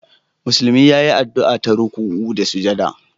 Musulmi ya yi addu'a ta ruku'u da sujada